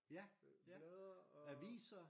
Ja ja aviser